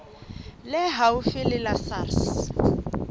le haufi le la sars